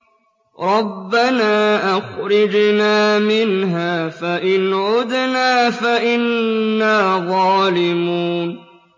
رَبَّنَا أَخْرِجْنَا مِنْهَا فَإِنْ عُدْنَا فَإِنَّا ظَالِمُونَ